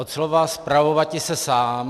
Od slova spravovati se sám.